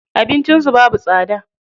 Abincin su babu tsada.